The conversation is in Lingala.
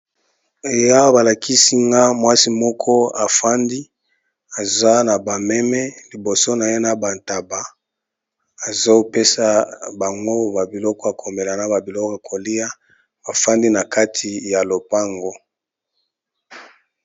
Awa balakisi nga mwasi moko afandi aza na bameme liboso na ye na bataba ezopesa bango babiloko ya kolia na komela.